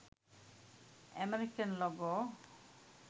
american logo